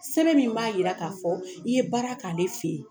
Sɛbɛn min b'a yira k'a fɔ i ye baara k'ale fɛ ye.